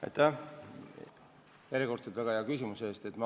Aitäh järjekordse väga hea küsimuse eest!